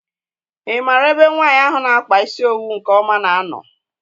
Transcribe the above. I maara ebe nwaanyị ahụ na -akpa isi owu nke ọma na -ano?